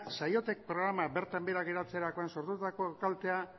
saiotek programa bertan behera geratzerakoan sortutako kaltea